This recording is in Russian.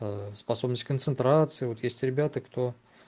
способность к концентрации вот есть ребята кто